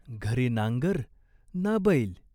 घरी नांगर ना बैल.